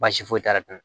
Baasi foyi t'a la